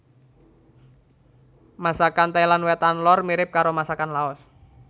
Masakan Thailand Wétan lor mirip karo masakan Laos